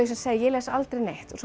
segja ég les aldrei neitt og